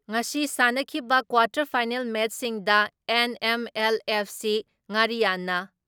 ꯉꯁꯤ ꯁꯥꯟꯅꯈꯤꯕ quarter final ꯃꯦꯠꯁꯁꯤꯡꯗ ꯑꯦꯟ.ꯑꯦꯝ.ꯑꯦꯜ.ꯑꯦꯐ.ꯁꯤ ꯉꯥꯔꯤꯌꯥꯟꯅ